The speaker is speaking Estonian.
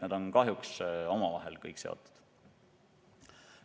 Need on kõik kahjuks omavahel seotud.